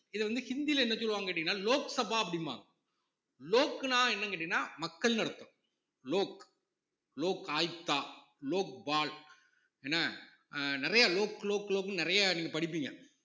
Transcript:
இத வந்து ஹிந்தில என்ன சொல்லுவாங்கன்னு கேட்டீங்கன்னா லோக்சபா அப்படிம்பாங்க லோக்ன்னா என்னன்னு கேட்டீங்கன்னா மக்கள்ன்னு அர்த்தம் லோக் லோக் ஆயுக்தா லோக்பால் என்ன அஹ் நிறைய லோக் லோக்ன்னு நிறைய நீங்க படிப்பீங்க